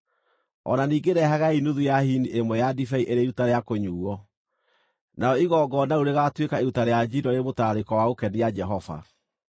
O na ningĩ rehagai nuthu ya hini ĩmwe ya ndibei ĩrĩ iruta rĩa kũnyuuo. Narĩo igongona rĩu rĩgatuĩka iruta rĩa njino rĩrĩ mũtararĩko wa gũkenia Jehova.